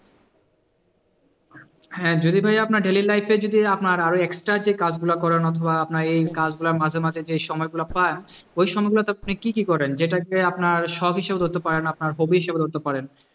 হ্যাঁ যদি ভাই আপনার daily life এ যদি আপনার আরো extra যে কাজগুলা করেন অথবা আপনার এই কাজগুলার মাঝে মাঝে যে সময়গুলো পান ওই সময়গুলাতে আপনি কি কি করেন যেটা গিয়ে আপনার শখ হিসাবেও ধরতে পারেন আপনার hobby হিসাবেও ধরতে পারেন